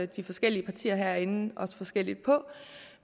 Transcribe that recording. de forskellige partier herinde også forskelligt på